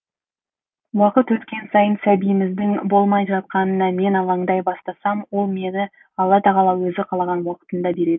уақыт өткен сайын сәбиіміздің болмай жатқанына мен алаңдай бастасам ол мені алла тағала өзі қалаған уақытында береді